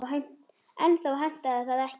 En þá hentaði það ekki.